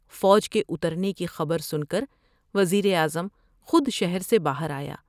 فوج کے اترنے کی خبر سن کروز براعظم خودشہر سے باہر آیا ۔